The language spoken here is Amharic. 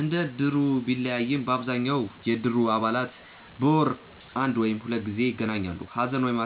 እንደ እድሩ ቢለያይም አብዛኛው የእድር አባላት በወር አንድ ወይም ሁለት ጊዜ ይገናኛሉ። ሀዘን ወይም